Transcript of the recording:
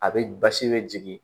A be basi be jigin